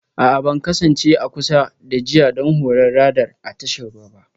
A'a ban kasance a kusa da jiya don Horon Radar a tashar ruwa ba